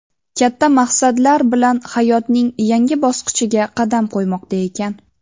katta maqsadlar bilan hayotning yangi bosqichiga qadam qo‘ymoqda ekan.